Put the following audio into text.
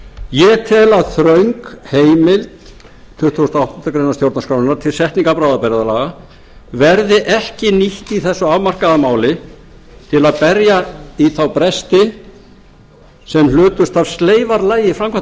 ég tel að þröng heimild tuttugasta og áttundu grein stjórnarskrárinnar til setningar bráðabirgðalaga verði ekki nýtt í þessu afmarkaða máli til að berja í þá bresti sem hlutust af sleifarlagi framkvæmdarvaldsins